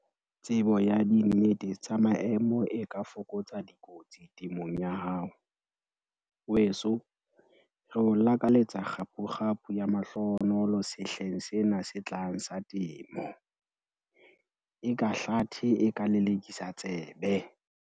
Tsebo ya dinnete tsa maemo e ka fokotsa dikotsi temong ya hao. Weso, re o lakaletsa kgaphukgaphu ya mahlohonolo sehleng sena se tlang sa temo! Eka hlathe e ka lelekisa tsebe!